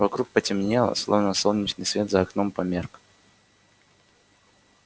вокруг потемнело словно солнечный свет за окном померк